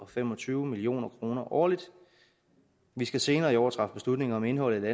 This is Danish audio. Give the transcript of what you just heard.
fem og tyve million kroner årligt vi skal senere i år træffe beslutning om indholdet